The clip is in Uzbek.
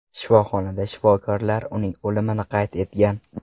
Shifoxonada shifokorlar uning o‘limini qayd etgan.